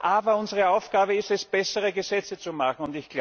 Aber unsere Aufgabe ist es, bessere Gesetze zu machen.